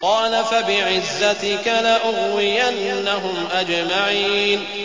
قَالَ فَبِعِزَّتِكَ لَأُغْوِيَنَّهُمْ أَجْمَعِينَ